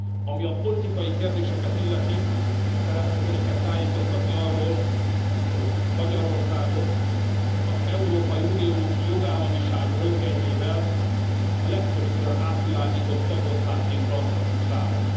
Ami a politikai kérdéseket illeti, szeretném Önöket tájékoztatni arról, hogy Magyarországot az Európai Unió jogállamiság röntgenjével a legtöbbször átvilágított tagországként tarthatjuk számon.